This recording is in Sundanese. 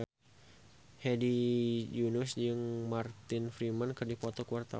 Hedi Yunus jeung Martin Freeman keur dipoto ku wartawan